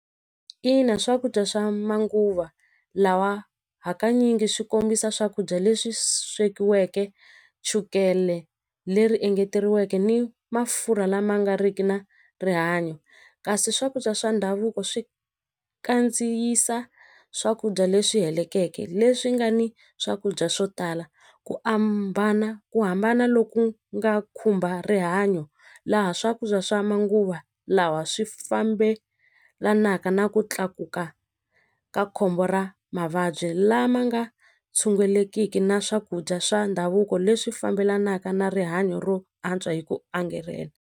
Ina swakudya swa manguva lawa hakanyingi swi kombisa swakudya leswi swekiweke chukele leri engeteriweke ni mafurha lama nga riki na rihanyo kasi swakudya swa ndhavuko swi kandziyisa swakudya leswi helekeke leswi nga ni swakudya swo tala ku ambana ku hambana loku nga khumba rihanyo laha swakudya swa manguva lawa swi fambelanaka na ku tlakuka ka khombo ra mavabyi lama nga tshungulekiki na swakudya swa ndhavuko leswi fambelanaka na rihanyo ro antswa hi ku angarhela.